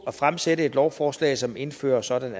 at fremsætte et lovforslag som indfører sådanne